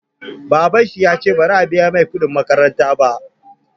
Babanshi yace bazai biya masa kuɗin makaranta ba